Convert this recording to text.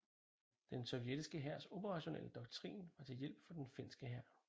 Den sovjetiske hærs operationelle doktrin var til hjælp for den finske hær